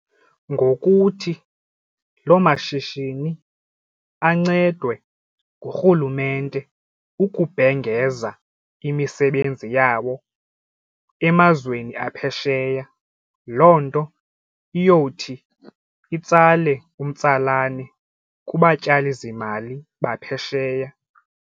Ngokuthi lo mashishini ancedwe ngurhulumente ukubhengeza imisebenzi yabo emazweni aphesheya. Loo nto iyowuthi itsale umtsalane kubatyalizimali baphesheya.